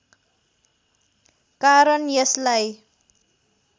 कारण यसलाई